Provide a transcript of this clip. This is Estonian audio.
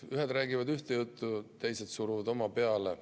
Ühed räägivad ühte juttu, teised suruvad oma peale.